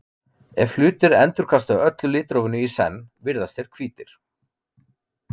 ef hlutir endurkasta öllu litrófinu í senn virðast þeir hvítir